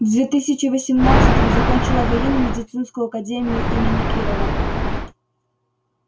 в две тысячи восемнадцатом закончила военно-медицинскую академию имени кирова